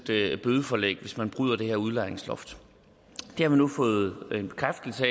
bødeforlæg hvis man bryder det her udlejningsloft det har man nu fået en bekræftelse